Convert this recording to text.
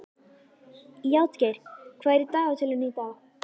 Játgeir, hvað er í dagatalinu í dag?